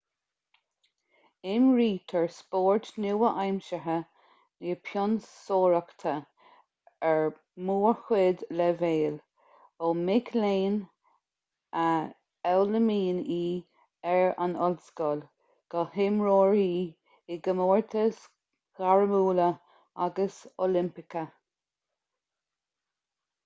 imrítear spórt nua-aimseartha na pionsóireachta ar mórchuid leibhéal ó mic léinn a fhoghlaimíonn í ar an ollscoil go hiomaitheoirí i gcomórtais ghairmiúla agus oilimpeacha